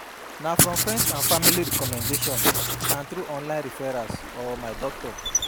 Na from friends and family recommendation and through online referrals or my doctor.